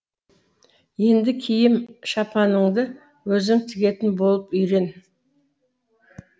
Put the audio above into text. енді киім шапаныңды өзің тігетін болып үйрен